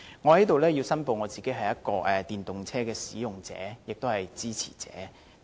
我在這裏申報，我是電動車的使用者和支持者。